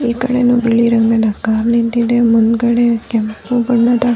ಈ ಕಡೆನು ಬಿಳಿ ರಂಗದ ಕಾರ್ ನಿಂತಿದೆ ಮುಂದ್ಗಡೆ ಕೆಂಪು ಬಣ್ಣದ --